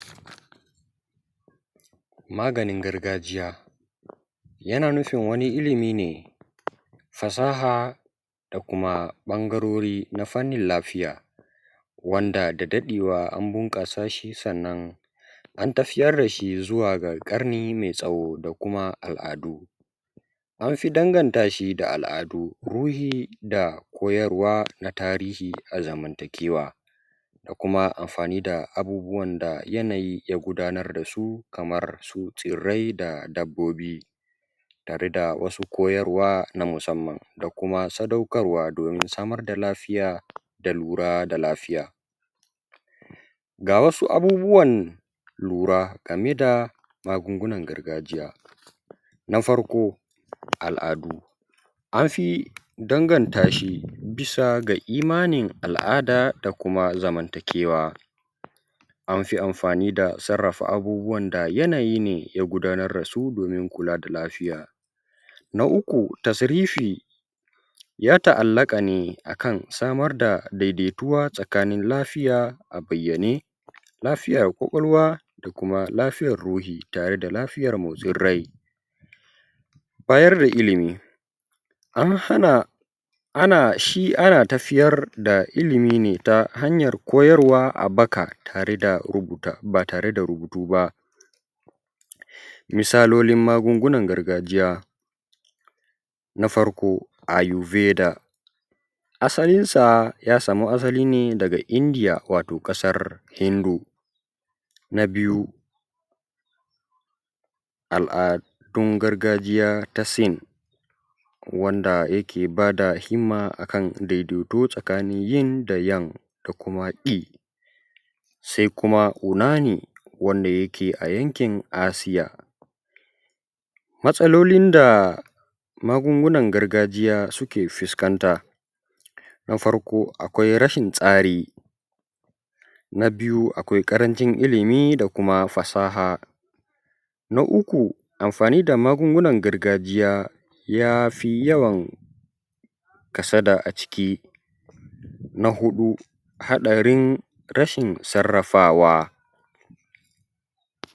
maganin gargajiya yana nufin wani ilimi ne fasaha da kuma ɓangarori na fannin lafiya wanda da daɗewa an bunƙasa shi sannan an tafiyar da shi zuwa ga ƙarni mai tsawo da kuma al’adu an fi danganta shi da al’adu ruhi da koyarwa na tarihi a zamantakewa da kuma amfani da abubuwan da yanayi ya gudanar da su kamar su tsirrai da dabbobi tare da su koyarwa na musamman da kuma sadaukarwa domin samar da lafiya da lura da lafiya ga wasu abubuwan lura game da magungunan gargajiya na farko al’adu an fi danganta shi bisa ga imanin al’ada da kuma zamantakewa an fi amfani da sarrafa abubuwan da yanayi ne ya gudanar da su domin kula da lafiya na uku tasarifi ya ta’allaƙa ne a kan samar da daidaituwa tsakanin lafiya a bayyane lafiyar ƙwaƙwalwa da kuma lafiyar ruhi tare da lafiyar motsin rai bayar da ilimi an hana xxx ana tafiyar da ilimi ne ta hanyar koyarwa a baka ba tare da rubutu ba misalolin magungunan gargajiya na farko ayurveda asalinsa ya samu asali ne daga india wato ƙasar hindu na biyu al’adun gargajiya ta sin wanda yake ba da himma a kan daidaito tsakanin ying da yang da kuma qui sai kuma unani wanda yake yankin ƙasar asia matsalolin da magungunan gargajiya suke fuskanta na farko akwai rashin tsari na biyu akwai ƙarancin ilimi da kuma fasaha na uku amfani da magungunan gargajiya ya fi yawan kasada a ciki na huɗu haɗarin rashin sarrafawa